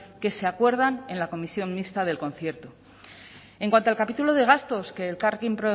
que se acuerdan en la comisión mixta del concierto en cuanto al capítulo de gastos que elkarrekin